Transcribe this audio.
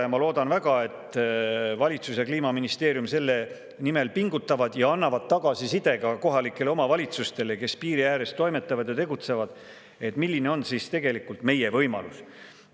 Ma väga loodan, et valitsus ja Kliimaministeerium selle nimel pingutavad ja annavad tagasisidet ka kohalikele omavalitsustele, kes piiri ääres toimetavad ja tegutsevad, et milline on tegelikult meie võimalus.